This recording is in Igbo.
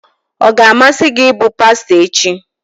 Ọ ga-amasị gị ịbụ pastọ echi?